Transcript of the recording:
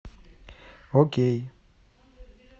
окей